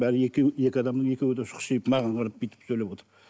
бәрі екі адамның екеуі де шұқшиып маған қарап бүйтіп сөйлеп отыр